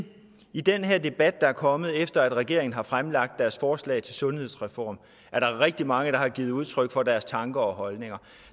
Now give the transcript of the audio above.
i den her debat der er kommet efter at regeringen har fremlagt deres forslag til en sundhedsreform er der rigtig mange der har givet udtryk for deres tanker og holdninger